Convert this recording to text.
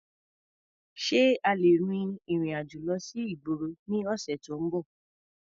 Ṣé a lè rin ìrìn-àjò lọ sí ìgboro ní ọ̀sẹ̀ tó ń bọ̀?